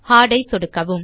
heart ஐ சொடுக்கவும்